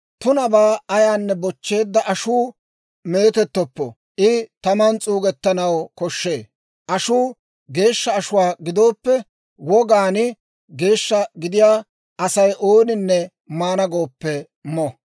« ‹Tunabaa ayaanne bochcheedda ashuu meetettoppo; I taman s'uugettanaw koshshee. Ashuu geeshsha ashuwaa gidooppe, wogaan geeshsha gidiyaa Asay ooninne maana gooppe mo.